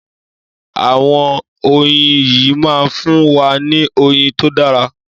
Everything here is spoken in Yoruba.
Àwọn oyin yìí máa fún wa ní oyin tó dára.